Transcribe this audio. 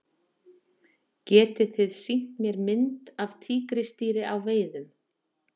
Getið þið sýnt mér mynd af tígrisdýri á veiðum?